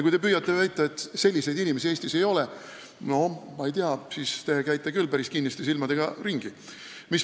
Kui te püüate väita, et selliseid inimesi Eestis ei ole, siis ma ei tea, te käite küll päris kinniste silmadega ringi.